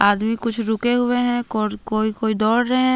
आदमी कुछ रुके हुए हैं को कोई कोई दौड़ रहे--